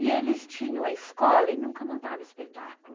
E eles tinham a escola e nunca montavam espetáculo.